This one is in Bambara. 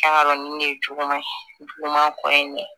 Kan ka nin de ye juguman ye juguman kɔ ye